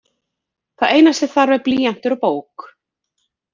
Það eina sem þarf er blýantur og bók.